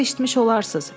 Haqqımda eşitmiş olarsız.